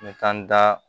N bɛ taa n da